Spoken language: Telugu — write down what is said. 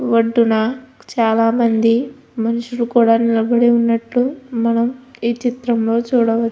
ఒడ్డున చాలా మంది మనుషులు కూడా నిలబడి ఉన్నట్టు ఈ చిత్రంలో చూడవ--